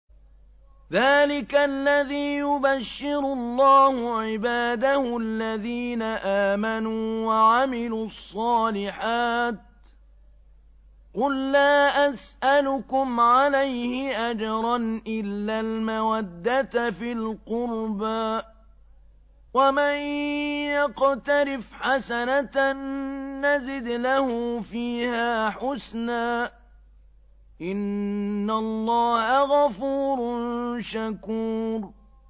ذَٰلِكَ الَّذِي يُبَشِّرُ اللَّهُ عِبَادَهُ الَّذِينَ آمَنُوا وَعَمِلُوا الصَّالِحَاتِ ۗ قُل لَّا أَسْأَلُكُمْ عَلَيْهِ أَجْرًا إِلَّا الْمَوَدَّةَ فِي الْقُرْبَىٰ ۗ وَمَن يَقْتَرِفْ حَسَنَةً نَّزِدْ لَهُ فِيهَا حُسْنًا ۚ إِنَّ اللَّهَ غَفُورٌ شَكُورٌ